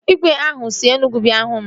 Igwe ahụ si Enugwu bịa ịhụ m